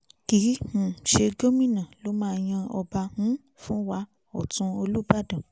kìí um ṣe gómìnà ló máa yan ọba um fún wa ọ̀tún olùbàdàn